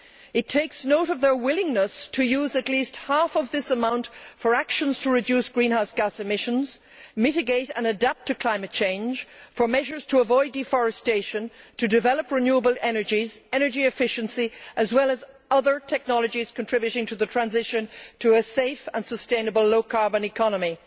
It takes note of their willingness to use at least half of this amount for actions to reduce greenhouse gas emissions, mitigate and adapt to climate change, for measures to avoid deforestation, to develop renewable energies, energy efficiency, as well as other technologies contributing to the transition to a safe and sustainable low carbon economy,